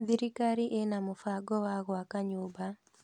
Thirikarĩ ĩna mũbango wa gwaka nyumba